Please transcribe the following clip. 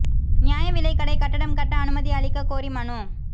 நியாய விலைக் கடை கட்டடம் கட்ட அனுமதி அளிக்கக் கோரி மனு